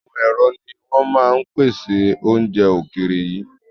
Àwọn ẹ̀rọ ni wọn máa ń pèsè àwọn oúnjẹ ókéré yìí